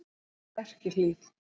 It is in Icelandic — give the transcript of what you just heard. Lerkihlíð